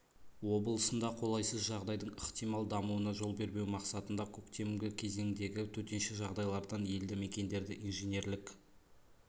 облысында қолайсыз жағдайдың ықтимал дамуына жол бермеу мақсатында көктемгі кезеңдегі төтенше жағдайлардан елді мекендерді инженерлік